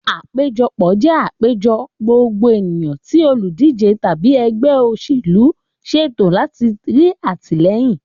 Àpéjọpọ̀ jẹ àpéjọ gbogbo ènìyàn tí olùdíje tàbí ẹgbẹ́ òṣèlú ṣètò láti rí atilẹyin.